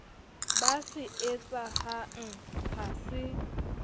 ba se etsahang ha se